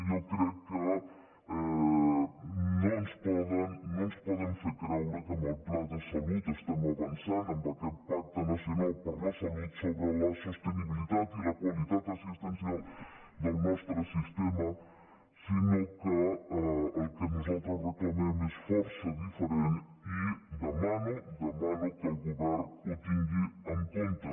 jo crec que no ens poden fer creure que amb el pla de salut estem avançant en aquest pacte nacional per a la salut sobre la sosteni·bilitat i la qualitat assistencial del nostre sistema sinó que el que nosaltres reclamem és força diferent i de·mano ho demano que el govern ho tingui en comp·te